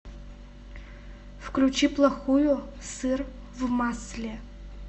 включи плохую сыр в масле